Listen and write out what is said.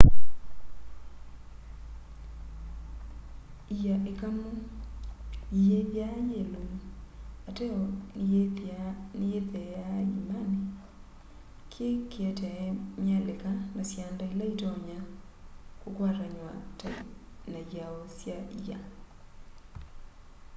ia ikamu iyithwaa yiilumu ateo nĩyitheea ĩĩmanĩ kĩ kĩetae myalĩka na syanda ĩla ĩtonya kũkwatanywa na ĩao sya ĩa